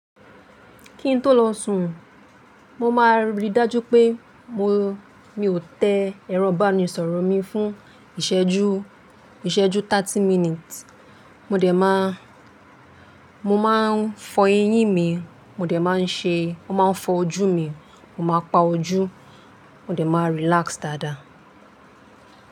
Kí ń tó lọ sùn, mo máa rí dájú pé mo, mi ò tẹ ẹran banuṣọrọ̀ mi fún ìṣẹ́jú, ìṣẹ́jú thirty minutes. Mo dẹ̀ má, mo má ń fọ eyín mi, mo dẹ̀ má ń ṣe, mo má ń fọ ojú mi, mo máa pa ojú, mo dẹ̀ má relax dáadáa.